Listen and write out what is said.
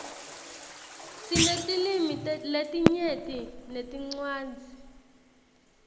sinetilwimi letinyenti netincwadzi